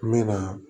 N bɛ na